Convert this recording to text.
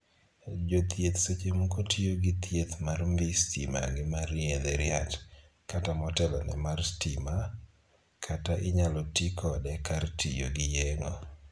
Jothieth seche moko tiyo gi thieth mar mbii stima gi mar yedhe riat, kata motelo ne mar stima, kata inyal tii kode kar tiyo gi yeng'o